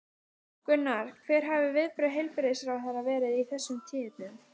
Gunnar, hver hafa viðbrögð heilbrigðisráðherra verið við þessum tíðindum?